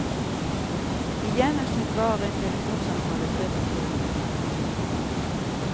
I gjennomsnitt varer en telefonsamtale tre til fire minutter. punktum